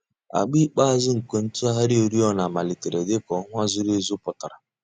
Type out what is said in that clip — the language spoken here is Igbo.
Àgbà ikpeazụ̀ nke ntùghàrị̀ òrìọ̀nà màlítèrè dị̀ka ọnwà zùrù èzù pụtara.